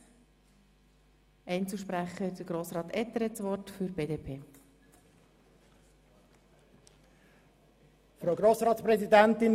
Als erster Einzelsprecher hat Grossrat Etter, BDP, das Wort.